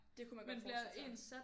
Det kunne man godt forestille sig